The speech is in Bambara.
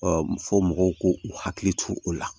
fɔ mɔgɔw k'u hakili to o la